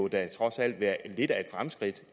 da trods alt være lidt af et fremskridt